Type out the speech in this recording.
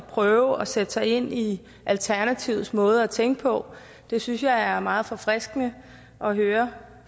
på at sætte sig ind i alternativets måde at tænke på det synes jeg er meget forfriskende at høre